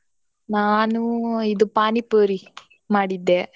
ನಾನೂ ಇದು ಪಾನಿಪುರಿ ಮಾಡಿದ್ದೆ.